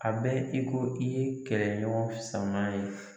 A bɛ i ki i ye kɛlɛɲɔgɔn sama ye